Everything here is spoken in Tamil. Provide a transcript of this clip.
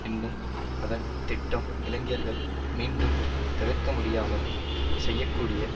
என்னும் அதன் திட்டம் இளைஞர்கள் மீண்டும் தவிர்க்கமுடியமால் செய்ய கூடிய